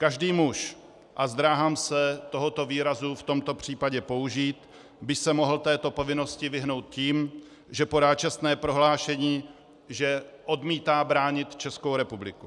Každý muž, a zdráhám se tohoto výrazu v tomto případě použít, by se mohl této povinnosti vyhnout tím, že podá čestné prohlášení, že odmítá bránit Českou republiku.